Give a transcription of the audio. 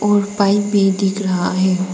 और पाइप भी दिख रहा है।